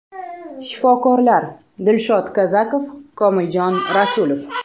Shifokorlar: Dilshod Kazakov, Komiljon Rasulov.